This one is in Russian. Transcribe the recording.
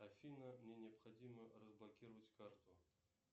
афина мне необходимо разблокировать карту